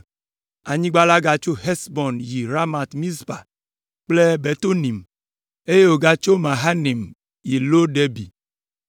Anyigba la gatso Hesbon yi Ramat Mizpa kple Betonim, eye wògatso Mahanaim yi Lo Debir.